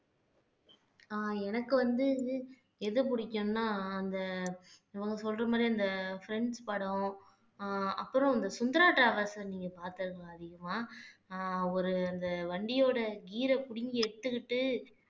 ஆஹ் எனக்கு வந்து எது பிடிக்கும்னா அந்த இவங்க சொல்ற மாதிரி அந்தப்ரண்ட்ஸ் படம் அஹ் அப்புறம் இந்த சுந்தரா டிராவல்ஸ் நீங்க பார்த்ததுல அதிகமா அஹ் ஒரு அந்த வண்டியோட gear அ புடுங்கி எடுத்துக்கிட்டு